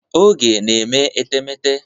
Oge na-eme etemeete.